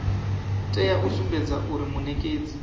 tea u sumbedza zwauri munekedzi